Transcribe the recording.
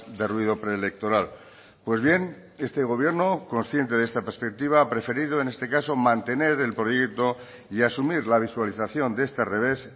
de ruido preelectoral pues bien este gobierno consciente de esta perspectiva ha preferido en este caso mantener el proyecto y asumir la visualización de este revés